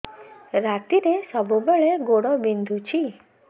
ରାତିରେ ସବୁବେଳେ ଗୋଡ ବିନ୍ଧୁଛି